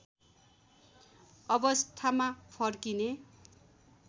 अवस्थामा फर्किने